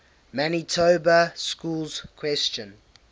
manitoba schools question